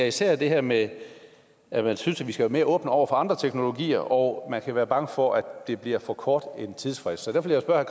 især er det her med at man synes at vi skal være mere åbne over for andre teknologier og man kan være bange for at det bliver for kort en tidsfrist så der vil jeg spørge